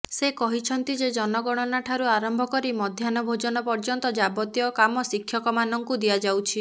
ସେ କହିଛନ୍ତି ଯେ ଜନଗଣନା ଠାରୁ ଅରମ୍ଭ କରି ମଧ୍ୟାହ୍ନଭୋଜନ ପର୍ଯ୍ୟନ୍ତ ଯାବତୀୟ କାମ ଶିକ୍ଷକମାନଙ୍କୁ ଦିଆଯାଉଛି